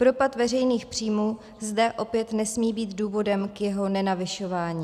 Propad veřejných příjmů zde opět nesmí být důvodem k jeho nenavyšování.